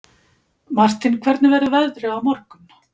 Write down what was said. Martin, hvernig verður veðrið á morgun?